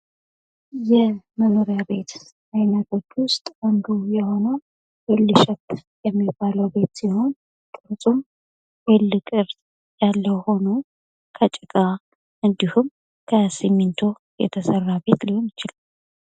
የመኖሪያ ቤት አይነቶች ውስጥ አንዱ የሆነው ኤል ሸፕ የሚባለው ቤት አንዱ ሲሆን ቅርጹም ኤል ቅርጽ ያለው ሁኖ ከጭቃ እንድሁም ከሲሚንቶ የተሰራ ቤት ሊሆን ይችላል።